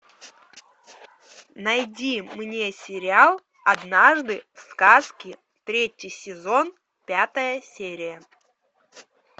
найди мне сериал однажды в сказке третий сезон пятая серия